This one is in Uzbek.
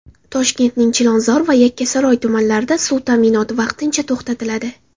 Toshkentning Chilonzor va Yakkasaroy tumanlarida suv ta’minoti vaqtincha to‘xtatiladi.